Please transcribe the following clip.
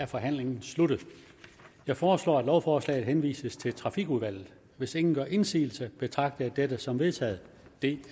er forhandlingen sluttet jeg foreslår at lovforslaget henvises til trafikudvalget hvis ingen gør indsigelse betragter jeg dette som vedtaget det